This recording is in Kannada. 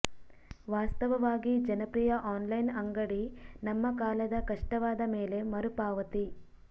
ವಾಸ್ತವವಾಗಿ ಜನಪ್ರಿಯ ಆನ್ಲೈನ್ ಅಂಗಡಿ ನಮ್ಮ ಕಾಲದ ಕಷ್ಟವಾದ ಮೇಲೆ ಮರುಪಾವತಿ